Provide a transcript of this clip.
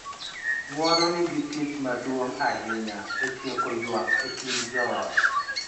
Ng�uono nigi tich maduong� ahinya e tieko ywak e kind joot,